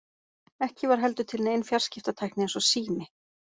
Ekki var heldur til nein fjarskiptatækni eins og sími.